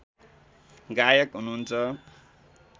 गायक हुनुहुन्छ